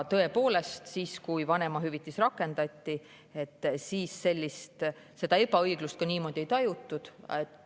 Tõepoolest, siis, kui vanemahüvitis rakendati, sellist ebaõiglust niimoodi ei tajutud.